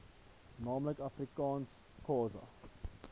naamlik afrikaans isixhosa